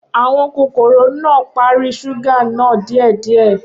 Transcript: Awọn kokoro naa pari ṣuga naa diẹ diẹ